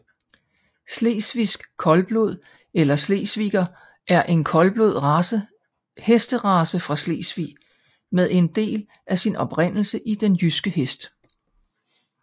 Slesvigsk Koldblod eller Slesviger er en koldblod hesterace fra Slesvig med en del af sin oprindelse i den jyske hest